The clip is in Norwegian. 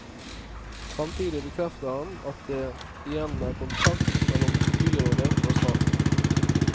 Samtidig bekrefter han at det igjen er kontakt mellom byrådet og staten.